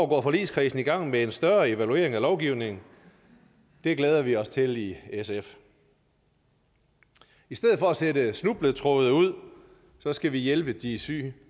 går forligskredsen i gang med en større evaluering af lovgivningen det glæder vi os til i sf i stedet for at sætte snubletråde ud skal vi hjælpe de syge